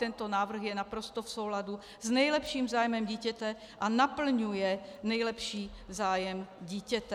Tento návrh je naprosto v souladu s nejlepším zájmem dítěte a naplňuje nejlepší zájem dítěte.